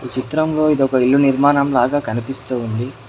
ఈ చిత్రంలో ఇది ఒక ఇళ్ళు నిర్మాణం లాగా కనిపిస్తుంది